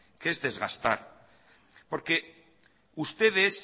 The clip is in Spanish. que es desgastar porque ustedes